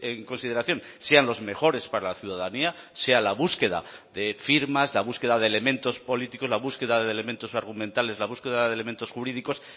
en consideración sean los mejores para la ciudadanía sea la búsqueda de firmas la búsqueda de elementos políticos la búsqueda de elementos argumentales la búsqueda de elementos jurídicos